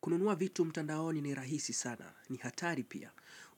Kununua vitu mtandaoni ni rahisi sana. Ni hatari pia.